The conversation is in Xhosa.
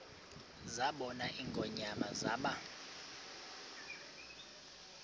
zabona ingonyama zaba